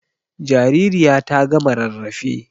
Jaririya ta gama rarrafe.